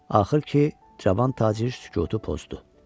Axır ki, cavan tacir sükutu pozdu.